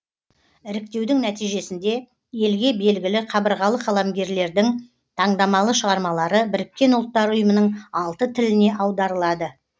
іріктеудің нәтижесінде елге белгілі қабырғалы қаламгерлердің таңдамалы шығармалары біріккен ұлттар ұйымының алты тіліне аударылады